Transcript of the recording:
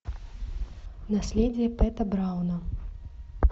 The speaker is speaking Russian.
наследие пэта брауна